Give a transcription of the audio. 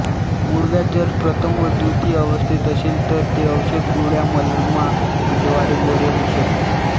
मूळव्याध जर प्रथम व व्दितीय अवस्थेत असेल तर ते औषधग़ोळ्यामलमा व्दारे बरे होऊ शकते